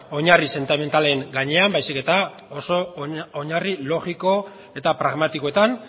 oinarri sentimentalen gainean baizik eta oso oinarri logiko eta pragmatikoetan